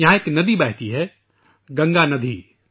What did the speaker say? یہاں ایک ندی بہتی ہے ، ناگاندھی